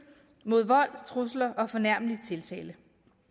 mod vold trusler og fornærmelig tiltale